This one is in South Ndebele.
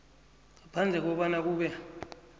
ngaphandle kobana kube